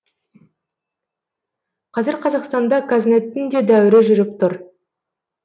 қазір қазақстанда қазнеттің де дәуірі жүріп тұр